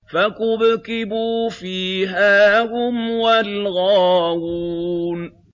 فَكُبْكِبُوا فِيهَا هُمْ وَالْغَاوُونَ